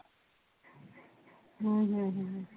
ਹਮ